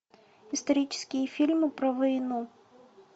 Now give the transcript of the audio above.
исторические фильмы про войну